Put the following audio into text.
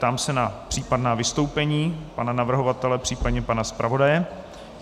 Ptám se na případná vystoupení pana navrhovatele, případně pana zpravodaje.